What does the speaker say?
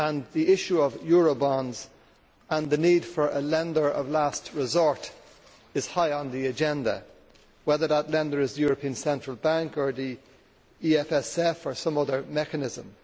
The issue of eurobonds and the need for a lender of last resort is high on the agenda, whether that lender is the European Central Bank or the EFSF or some other mechanism.